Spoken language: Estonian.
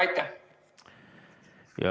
Aitäh!